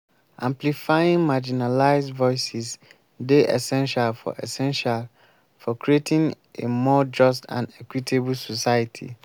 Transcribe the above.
social media dey provide powerful platform for raising awareness and promoting advocacy on important issues.